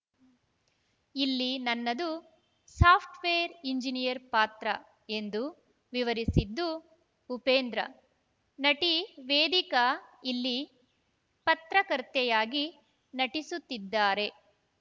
ಇಲ್ಲಿ ನನ್ನದು software engineer ಪಾತ್ರ ಎಂದು ವಿವರಿಸಿದ್ದು ಉಪೇಂದ್ರ ನಟಿ ವೇದಿಕಾ ಇಲ್ಲಿ ಪತ್ರಕರ್ತೆಯಾಗಿ ನಟಿಸುತ್ತಿದ್ದಾರೆ